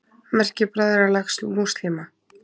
Merki Bræðralags múslíma.